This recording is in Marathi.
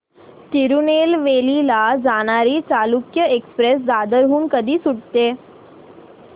तिरूनेलवेली ला जाणारी चालुक्य एक्सप्रेस दादर हून कधी सुटते